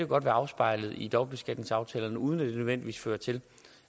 godt være afspejlet i dobbeltbeskatningsaftalerne uden at det nødvendigvis fører til